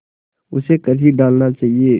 उसे कर ही डालना चाहिए